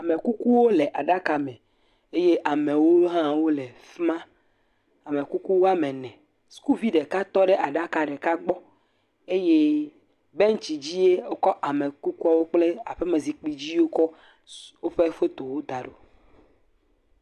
Amekukuwo le aɖaka me, eye amewo hã wole afi ma, amekuku woame ene, sukuvi ɖeka tɔ ɖe aɖaka ɖeka gbɔ eye bɛntsi dzie wokɔ amekukuwo kple aƒemezikpui dzi wokɔ woƒe fotowo da ɖo.